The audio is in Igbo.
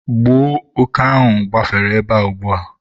gbuo òké ahụ gbafere ebe a ugbua!